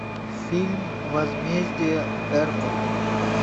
фильм возмездие эрпа